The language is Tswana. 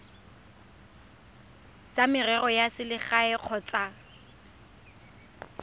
tsa merero ya selegae kgotsa